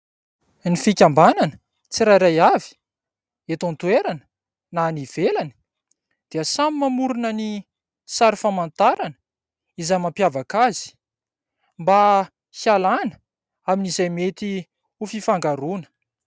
Ny fikambanana tsirairay avy, eto an-toerana na any ivelany dia samy mamorona ny sary famantarana, izay mampiavaka azy mba hialana amin'izay mety ho fifangaroana.